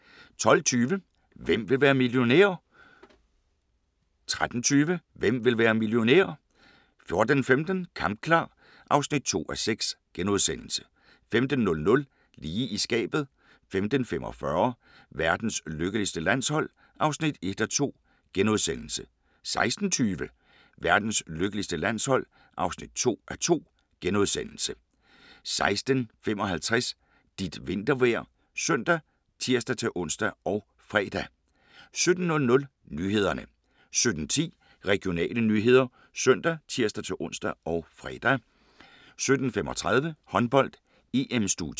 12:20: Hvem vil være millionær? 13:20: Hvem vil være millionær? 14:15: Kampklar (2:6)* 15:00: Lige i skabet 15:45: Verdens lykkeligste landshold (1:2)* 16:20: Verdens lykkeligste landshold (2:2)* 16:55: Dit vintervejr ( søn, tir-ons, fre) 17:00: Nyhederne 17:10: Regionale nyheder ( søn, tir-ons, fre) 17:35: Håndbold: EM - studiet